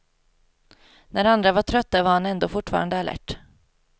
När andra var trötta var han ändå fortfarande alert.